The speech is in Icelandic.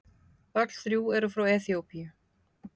Öll þrjú eru frá Eþíópíu.